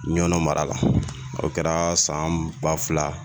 Ɲɔnɔ mara la o kɛra san ba fila